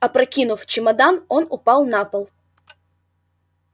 опрокинув чемодан он упал на пол